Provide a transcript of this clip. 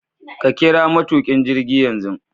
Ka kira matukin jirgi yanzu